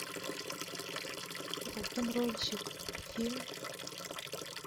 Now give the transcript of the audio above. рок н рольщик фильм